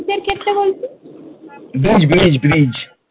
bridge bridge bridge